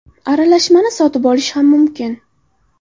Aralashmani sotib olish ham mumkin.